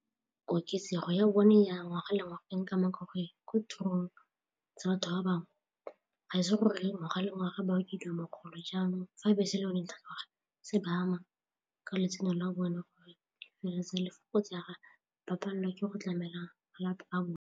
Koketsego ya bone ya ngwaga le ngwaga e nkama ka gore ko tirong tsa batho ba bangwe ga e se gore ngwaga le ngwaga ba okediwa mogolo jaanong fa bese go fitlha ngwaga se ba ama ka letseno la bone gore e feleletsa le fokotsa ba palelwa ke go tlamela malapa a bone.